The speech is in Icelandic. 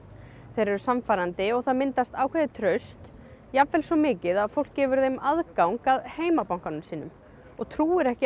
þeir eru sannfærandi og það myndast ákveðið traust jafnvel svo mikið að fólk gefur þeim aðgang að heimabankanum sínum og trúir ekki